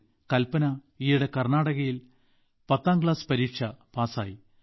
യഥാർത്ഥത്തിൽ കൽപ്പന ഈയിടെ കർണാടകയിൽ പത്താം ക്ലാസ്സ് പരീക്ഷ പാസായി